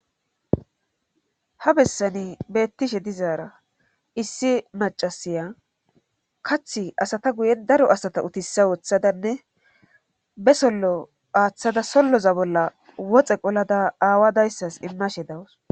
ha bessani beettishe dizaara issi macasiya kath asata guye daro asata utissa wooththadanne be sollo aaththada solloza bolla woxe qolada aawadayssas immashe dawus